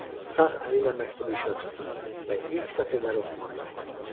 Sağ əliylə məktubu işığa tutdu və ilk sətirləri oxumağa cəhd etdi.